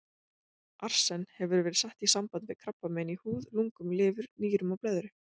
Arsen hefur verið sett í samband við krabbamein í húð, lungum, lifur, nýrum og blöðru.